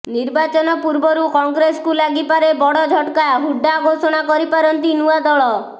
ନିର୍ବାଚନ ପୂର୍ବରୁ କଂଗ୍ରେସକୁ ଲାଗିପାରେ ବଡ ଝଟ୍କା ହୁଡ୍ଡା ଘୋଷଣା କରିପାରନ୍ତି ନୂଆ ଦଳ